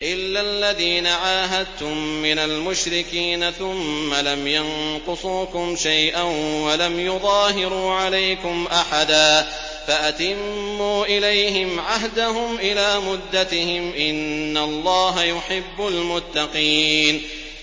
إِلَّا الَّذِينَ عَاهَدتُّم مِّنَ الْمُشْرِكِينَ ثُمَّ لَمْ يَنقُصُوكُمْ شَيْئًا وَلَمْ يُظَاهِرُوا عَلَيْكُمْ أَحَدًا فَأَتِمُّوا إِلَيْهِمْ عَهْدَهُمْ إِلَىٰ مُدَّتِهِمْ ۚ إِنَّ اللَّهَ يُحِبُّ الْمُتَّقِينَ